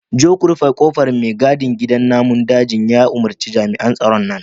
je ku rufe kofar mai gadin gidan namun daji ya umarci jami'an tsaron nan